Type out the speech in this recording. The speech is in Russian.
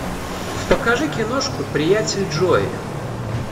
покажи киношку приятель джои